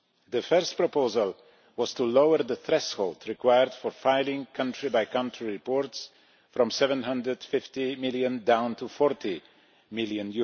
The first proposal was to lower the threshold required for filing country-by-country reports from EUR 750 million down to EUR 40 million.